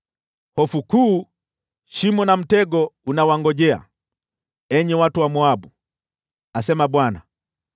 Hofu kuu, shimo na mtego vinawangojea, enyi watu wa Moabu,” asema Bwana .